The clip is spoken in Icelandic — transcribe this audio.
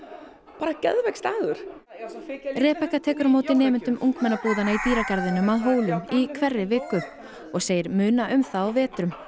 bara geðveikur staður tekur á móti nemendum ungmennabúðanna í dýragarðinum að Hólum í hverri viku og segir muna um það á vetrum